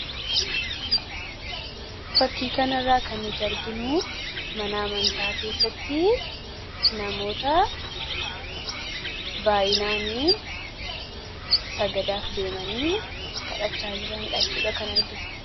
fakkiikan irraa kan nuti arginu mana amantaa keessatti namoota baayinaanii sagadaaf deemanii kadhachaa jira hidhachuudha kan arginu